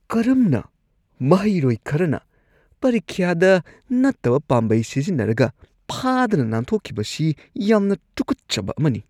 ꯀꯔꯝꯅ ꯃꯍꯩꯔꯣꯏ ꯈꯔꯅ ꯄꯔꯤꯈ꯭ꯌꯥꯗ ꯅꯠꯇꯕ ꯄꯥꯝꯕꯩ ꯁꯤꯖꯤꯟꯅꯔꯒ ꯐꯥꯗꯅ ꯅꯥꯟꯊꯣꯛꯈꯤꯕꯁꯤ ꯌꯥꯝꯅ ꯇꯨꯛꯀꯠꯆꯕ ꯑꯃꯅꯤ ꯫